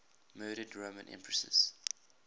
murdered roman empresses